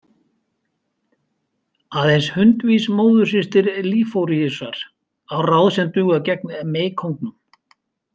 Aðeins hundvís móðursystir Liforíusar á ráð sem duga gegn meykóngnum.